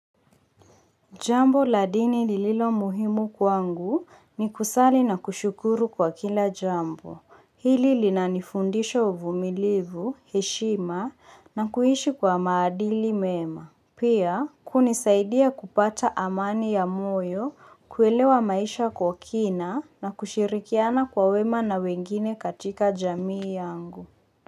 Jambo la dini lililo muhimu kwangu, ni kusali na kushukuru kwa kila jambo. Hili lina nifundisha uvumilivu, heshima na kuishi kwa maadili mema. Pia, kunisaidia kupata amani ya moyo, kuelewa maisha kwa kina, na kushirikiana kwa wema na wengine katika jamii yangu.